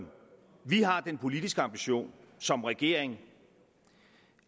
vi har den politiske ambition som regering